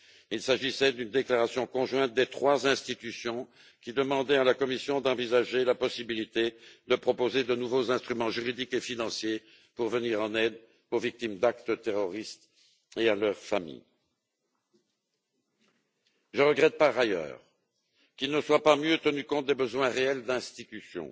Il s'agissait d'une déclaration conjointe des trois institutions qui demandait à la Commission d'envisager la possibilité de proposer de nouveaux instruments juridiques et financiers pour venir en aide aux victimes d'actes terroristes et à leurs familles. Je regrette, par ailleurs, qu'il ne soit pas mieux tenu compte des besoins réels de certaines institutions,